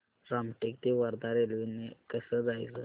रामटेक ते वर्धा रेल्वे ने कसं जायचं